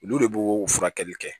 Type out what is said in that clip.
Olu de b'o furakɛli kɛ